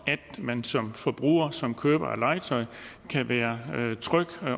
at man som forbruger og som køber af legetøj kan være tryg